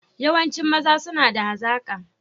Yawancin maza suna da hazaka